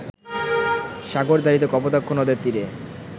সাগরদাঁড়িতে কপোতাক্ষ নদের তীরে